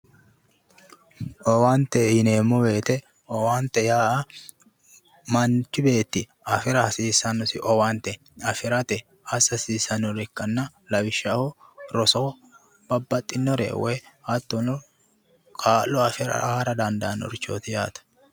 Owaante yineemmo woyite owaante yaa manchi beetti afira hasiissannosi owaante afirate assa hasiissannore ikkanna lawishaho roso babbaxxinore woyi hattono kaa'lo afirara dandaannorichooti yaate